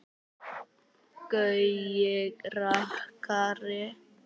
Gaui rakari.